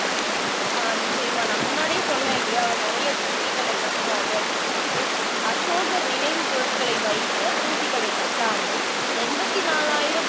ஆஹ் நிச்சயமா நான் முன்னாடியே சொன்னேன் இல்லையா அவர் நிறைய தூபிக்களை கட்டினாரு அப்படின்னு சொல்லிட்டு அசோகர் நினைவுப் பொருட்களை வைக்கத் தூபிகளைக் கட்டாமல் எண்பத்து நாலாயிரம்